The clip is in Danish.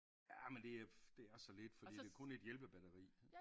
Ja men det er det er så lidt fordi det kun 1 hjælpebatteri